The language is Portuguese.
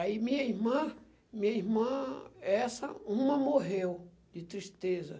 Aí minha irmã minha irmã, essa uma morreu de tristeza.